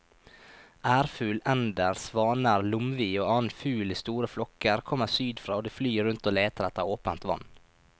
Ærfugl, ender, svaner, lomvi og annen fugl i store flokker kommer sydfra og de flyr rundt og leter etter åpent vann.